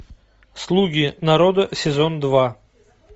слуги народа сезон два